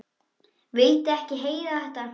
Vildi ekki heyra þetta!